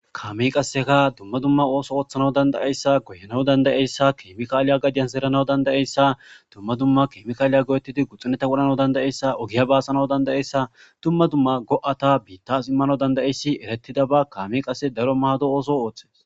Kameyi qasseka duma duma osso orhanawu dandayeyissa goyanawu danidayeyissa kemikaliya gadiyani zeranawu dandayeyissa duma duma kemikaleta go'etidi guxuniya wodhanawu dandayeyissa duma duma go'ata bittasi imanawu dandayeyissa kameyi qassi